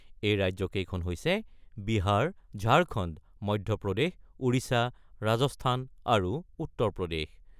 এই ৰাজ্যকেইখন হৈছে বিহাৰ, ঝাৰখণ্ড, মধ্যপ্ৰদেশ, ওড়িশা, ৰাজস্থান আৰু উত্তৰ প্ৰদেশ।